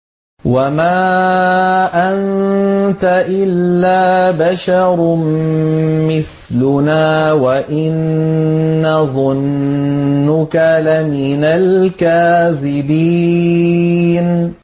وَمَا أَنتَ إِلَّا بَشَرٌ مِّثْلُنَا وَإِن نَّظُنُّكَ لَمِنَ الْكَاذِبِينَ